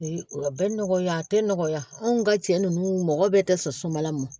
A bɛ nɔgɔya a tɛ nɔgɔya anw ka cɛ ninnu mɔgɔ bɛɛ tɛ sɔn sumamala ma